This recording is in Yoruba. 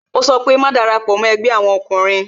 Ó sọ pé "Má darapo mo ẹgbẹ́ àwọn ọkùnrin